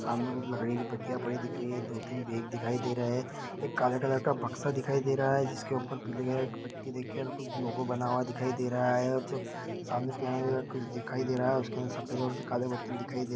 सामने कुछ लकड़ी की पत्तियाँ दिखाई दे रही हैं और दो तीन बैग दिखाई दे रहे हैं एक काला कलर का बक्सा दिखाई दे रहा है जिसके ऊपर पीले कलर की पट्टी लगी और कुछ लोगो बना दिखाई दे रहा है और सामने पियानो रखा दिखाई दे रहा है उसके अंदर सफेद और काले बटन दिखाई दे--